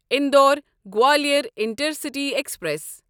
Indore Gwalior intercity express